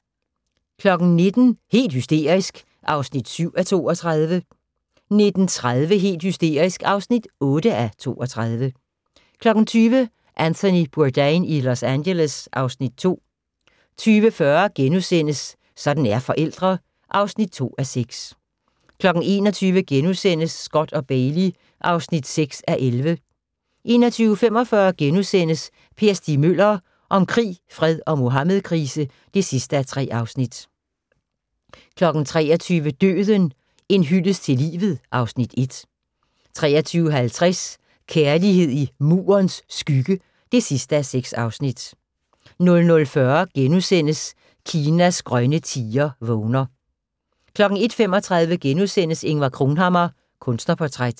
19:00: Helt hysterisk (7:32) 19:30: Helt hysterisk (8:32) 20:00: Anthony Bourdain i Los Angeles (Afs. 2) 20:40: Sådan er forældre (2:6)* 21:00: Scott & Bailey (6:11)* 21:45: Per Stig Møller – om krig, fred og Muhammedkrise (3:3)* 23:00: Døden - en hyldest til livet (Afs. 1) 23:50: Kærlighed i Murens Skygge (6:6) 00:40: Kinas grønne tiger vågner * 01:35: Ingvar Cronhammar – Kunstnerportræt *